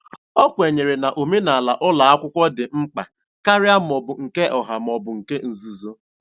O kwenyere na omenala ụlọ akwụkwọ dị mkpa karịa ma ọ bụ nke ọha ma ọ bụ nke nzuzo.